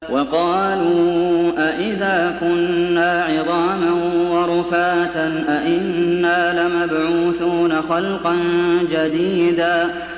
وَقَالُوا أَإِذَا كُنَّا عِظَامًا وَرُفَاتًا أَإِنَّا لَمَبْعُوثُونَ خَلْقًا جَدِيدًا